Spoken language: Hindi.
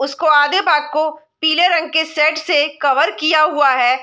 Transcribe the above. उसको आधे भाग को पीले रंग के शेड से कवर किया हुआ है।